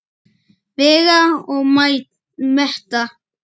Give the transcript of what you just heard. Vega og meta.